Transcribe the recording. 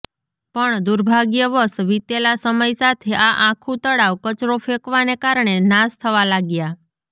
પણ દુર્ભાગ્યવશ વીતેલા સમય સાથે આ આખું તળાવ કચરો ફેંકવાને કારણે નાશ થવા લાગ્યા